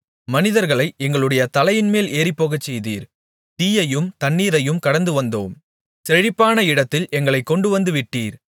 மனிதர்களை எங்களுடைய தலையின்மேல் ஏறிப்போகச்செய்தீர் தீயையும் தண்ணீரையும் கடந்து வந்தோம் செழிப்பான இடத்தில் எங்களைக் கொண்டுவந்து விட்டீர்